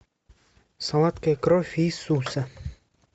сладкая кровь иисуса